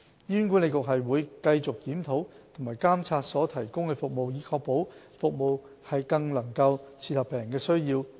醫管局會繼續檢討和監察所提供的服務，以確保服務能更切合病人的需要。